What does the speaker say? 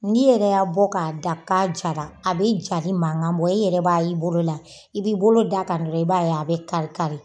N'iyɛrɛ y'a bɔ ka da ka jara, a be jali mankan bɔ e yɛrɛ b'a y'i bolo la i b'i bolo da kan dɔrɔn i b'a ye a be karikari.